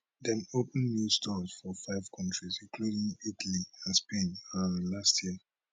dem open new stores for five countries including italy and spain um last year